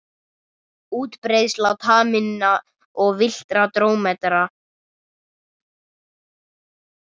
Útbreiðsla taminna og villtra drómedara.